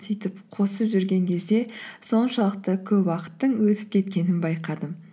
сөйтіп қосып жүрген кезде соншалықты көп уақыттың өтіп кеткенін байқадым